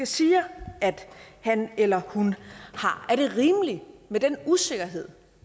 siger at han eller hun har er det rimeligt med den usikkerhed